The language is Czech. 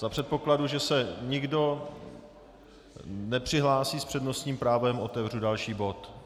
Za předpokladu, že se nikdo nepřihlásí s přednostním právem, otevřu další bod.